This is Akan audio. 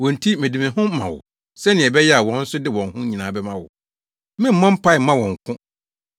Wɔn nti mede me ho ma wo sɛnea ɛbɛyɛ a wɔn nso de wɔn ho nyinaa bɛma wo.